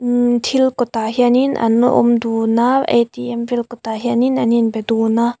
ummm thil kawtah hianin an awm dun a A_T_M vel kawtah hianin an inbe dun a.